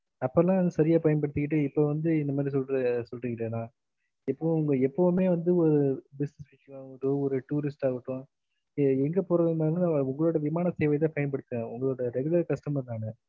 அப்ப எல்லாம் வந்து சரிய பயன் படுத்திகிட்டு இப்ப வந்து நீங்க சொல்லுறேங்கன்னா இப்ப ஒங்க எப்பவுமே வந்து business விஷயம் ஆகட்டும் ஒரு tourist ஆகட்டும எங்க போறதுனலையும் நான் ஒங்களோட விமான சேவையே தான் பயன்படுத்தினேன் ஒங்களோட regular customer நானு